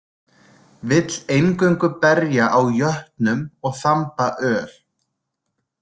Vill eingöngu berja á jötnum og þamba öl.